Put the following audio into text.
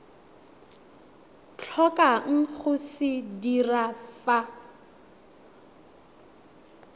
tlhokang go se dira fa